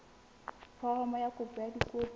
foromo ya kopo ka dikopi